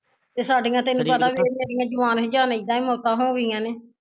ਏਹ ਸਾਡੀਆ ਤੈਨੂੰ ਪਤਾ ਵੇਖ ਏਡੀਆ ਜੁਬਾਨ ਹਜਾਨ ਇੱਦਾਂ ਈ ਮੋਤਾ ਹੋ ਗਈਆ ਨੇ